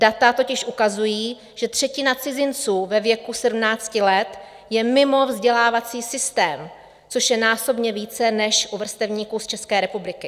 Data totiž ukazují, že třetina cizinců ve věku 17 let je mimo vzdělávací systém, což je násobně více než u vrstevníků z České republiky.